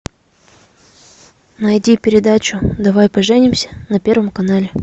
найди передачу давай поженимся на первом канале